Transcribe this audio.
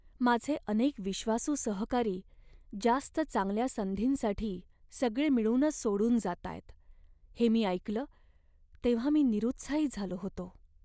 माझे अनेक विश्वासू सहकारी जास्त चांगल्या संधींसाठी सगळे मिळूनच सोडून जातायत हे मी ऐकलं तेव्हा मी निरुत्साही झालो होतो.